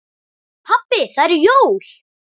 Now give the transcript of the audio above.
Pabbi það eru jól.